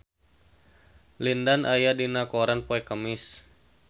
Lin Dan aya dina koran poe Kemis